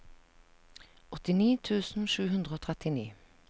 åttini tusen sju hundre og trettini